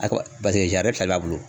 A paseke fila de b'a bolo.